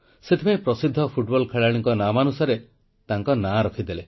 ସେଥିପାଇଁ ପ୍ରସିଦ୍ଧ ଫୁଟବଲ୍ ଖେଳାଳିଙ୍କ ନାମାନୁସାରେ ତାଙ୍କ ନାଁ ରଖିଦେଲେ